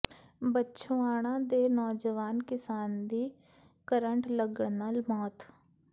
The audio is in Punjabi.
ਬੱਛੋਆਣਾ ਦੇ ਨੌਜਵਾਨ ਕਿਸਾਨ ਦੀ ਕਰੰਟ ਲੱਗਣ ਨਾਲ ਮੌਤ